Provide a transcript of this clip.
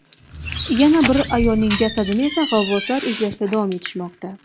Yana bir ayolning jasadini esa g‘avvoslar izlashda davom etishmoqda.